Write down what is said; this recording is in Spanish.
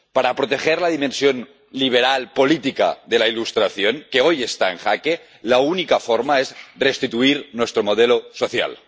Para proteger la dimensión liberal política de la Ilustración, que hoy está en jaque, la única forma es restituir nuestro modelo social.